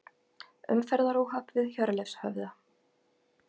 Umferðaróhapp við Hjörleifshöfða